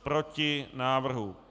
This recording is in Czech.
Proti návrhu.